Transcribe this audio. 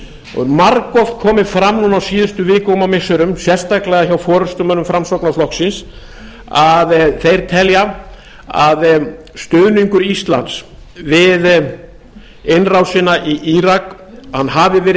og margoft komið fram núna á síðustu vikum og missirum sérstaklega hjá forustumönnum framsóknarflokksins að þeir telja að stuðningur íslands við innrásina í írak hafi verið